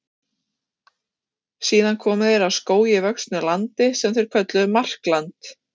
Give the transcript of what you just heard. Síðan komu þeir að skógi vöxnu landi sem þeir kölluðu Markland.